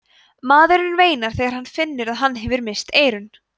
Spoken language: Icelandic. maðurinn veinar þegar hann finnur að hann hefur misst eyrun